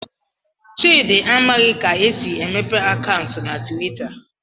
Chidi amaghị ka esi emepee akaụntụ na Twitter